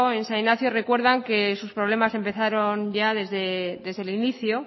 en san ignacio recuerdan que sus problemas empezaron ya desde el inicio